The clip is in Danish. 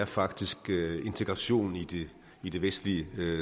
faktisk har været integrationen i det i det vestlige